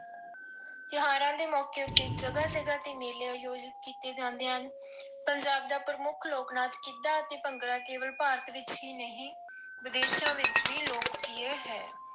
ਤਿਉਹਾਰਾਂ ਦੇ ਮੌਕੇ ਉੱਤੇ ਜਗ੍ਹਾ ਜਗ੍ਹਾ ਤੇ ਮੇਲੇ ਆਯੋਜਿਤ ਕੀਤੇ ਜਾਂਦੇ ਹਨ। ਪੰਜਾਬ ਦਾ ਪ੍ਰਮੁੱਖ ਲੋਕ ਨਾਚ ਗਿੱਧਾ ਅਤੇ ਭੰਗੜਾ ਕੇਵਲ ਭਾਰਤ ਵਿੱਚ ਹੀ ਨਹੀਂ ਵਿਦੇਸ਼ਾਂ ਵਿੱਚ ਵੀ ਲੋਕਪ੍ਰਿਯ ਹੈ।